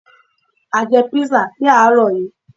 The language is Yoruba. À jẹ písà ní àárọ̀ yií